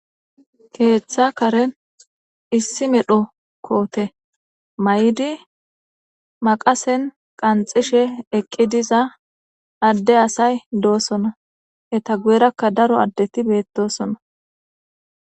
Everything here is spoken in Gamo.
Keeththa karen issi medho koote may'di maqasen qanxishe eqqi diza adde asay doosona eta guyerakka daro addeti beettosona.